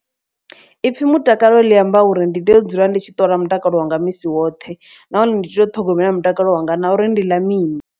Ipfhi mutakalo ḽi amba uri ndi tea u dzula ndi tshi ṱola mutakalo wanga misi woṱhe. Nahone ndi tea u ṱhogomela mutakalo wanga na uri ndi ḽa mini.